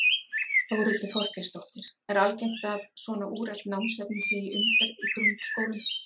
Þórhildur Þorkelsdóttir: Er algengt að svona úrelt námsefni sé í umferð í grunnskólum?